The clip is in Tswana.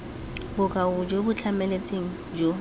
bokao jo bo tlhamaletseng jo